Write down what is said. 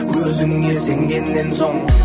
өзіңе сенгеннен соң